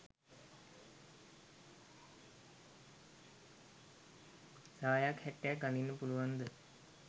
සායක් හැට්ටයක් අඳින්න පුලුවන්ද